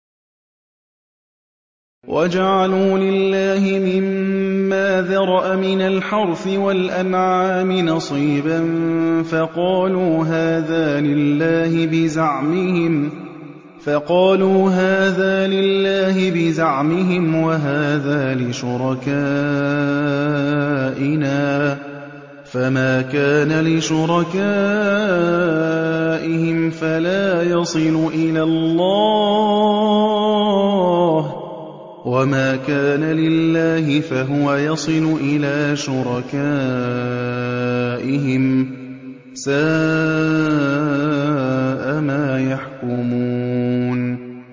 وَجَعَلُوا لِلَّهِ مِمَّا ذَرَأَ مِنَ الْحَرْثِ وَالْأَنْعَامِ نَصِيبًا فَقَالُوا هَٰذَا لِلَّهِ بِزَعْمِهِمْ وَهَٰذَا لِشُرَكَائِنَا ۖ فَمَا كَانَ لِشُرَكَائِهِمْ فَلَا يَصِلُ إِلَى اللَّهِ ۖ وَمَا كَانَ لِلَّهِ فَهُوَ يَصِلُ إِلَىٰ شُرَكَائِهِمْ ۗ سَاءَ مَا يَحْكُمُونَ